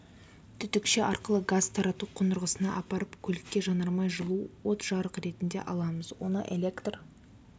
түтікше арқылы газ тазарту қондырғысына апарып көлікке жанармай жылу от жарық ретінде аламыз оны электр